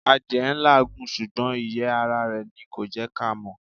Adìẹ n làágùn sùgbón ìyẹ́ ara rè ni kò jẹ́ ká mọ́